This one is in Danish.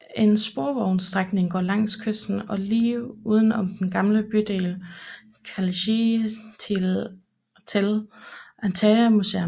En sporvognsstrækning går langs kysten og lige uden om den gamle bydel Kaleiçi til Antalya Museum